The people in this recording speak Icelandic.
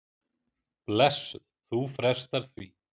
Blessuð, þú frestar því.